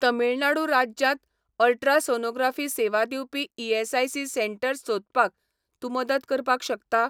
तमिळनाडू राज्यांत अल्ट्रासोनोग्राफी सेवा दिवपी ईएसआयसी सेटंर्स सोदपाक तूं मदत करपाक शकता?